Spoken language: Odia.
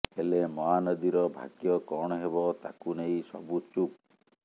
ହେଲେ ମହାନଦୀର ଭାଗ୍ୟ କଣ ହେବ ତାକୁ ନେଇ ସବୁ ଚୁପ